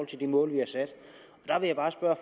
til det mål vi har sat